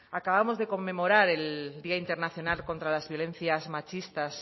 acabamos de conmemorar el día internacional contra las violencias machistas